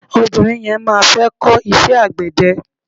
Obìnrin yẹn má fẹ́ kó iṣẹ́ àgbẹ̀dẹ.